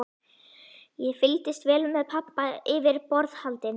Ég fylgdist vel með pabba yfir borðhaldinu.